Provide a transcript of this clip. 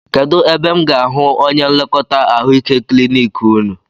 Kedụ ebe m ga-ahụ onye nlekọta ahụike klinik unu?